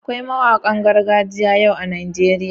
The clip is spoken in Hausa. Akwai mawanƙan gargajiya yau a Najeriya.